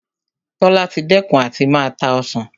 Tola ti dẹ́kun àti máa ta Ọsàn